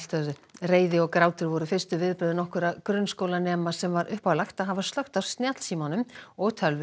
reiði og grátur voru fyrstu viðbrögð nokkurra grunnskólanema sem var uppálagt að hafa slökkt á snjallsímum og tölvum